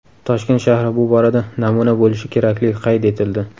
Toshkent shahri bu borada namuna bo‘lishi kerakligi qayd etildi.